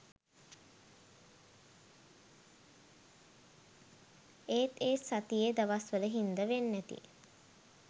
ඒත් ඒ සතියෙ දවස්වල හින්ද වෙන්නැති